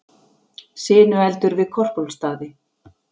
Sinueldur við Korpúlfsstaði